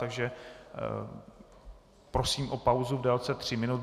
Takže prosím o pauzu v délce tří minut.